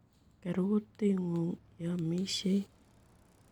Ker kuutit ng'ung' ye iamishei